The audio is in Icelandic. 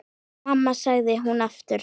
Mamma, sagði hún aftur.